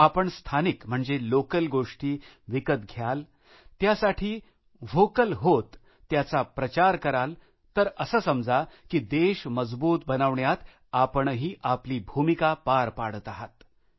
आपण स्थानिक म्हणजे लोकल गोष्टी विकत घ्याल त्यासाठी व्होकल होत त्यांचा प्रचार कराल तर असं समजा की देश मजबूत बनवण्यात आपणही आपली भूमिका पार पाडत आहात